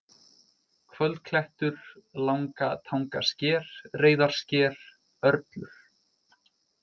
Kvöldklettur, Lagnatangasker, Reiðarsker, Örlur